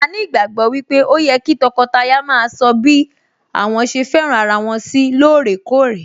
A ní ìgbàgbọ́ wípé ó yẹ kí tọkọtaya maa sọ bí àwọn ṣe fẹ́ràn ara wọn sí lóòrèkórè